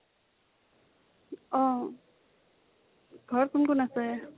অ । ঘৰত কোন কোন আছে?